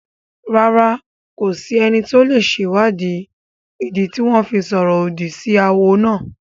Rárá, kò sí ẹni tó lè sèwáàdí ìdí tí wọ́n fi sọ̀rọ̀ òdì sí awo náà